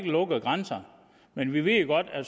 lukkede grænser men vi ved jo godt at